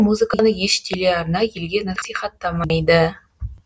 музыканы еш телеарна елге насихаттамайды